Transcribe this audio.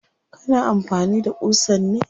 Kana amfani da ƙusan ne?